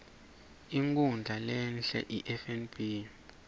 inkhundla lehie ifnb